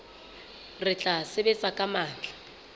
re tla sebetsa ka matla